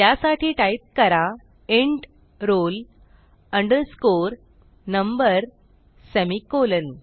त्यासाठी टाईप करा int roll underscore number semicolon